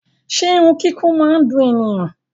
Ṣe irun kiko máa ni dùn ènìyàn?